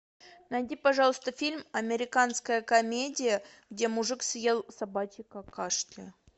найди пожалуйста фильм